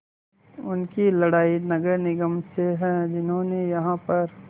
उनकी लड़ाई नगर निगम से है जिन्होंने यहाँ पर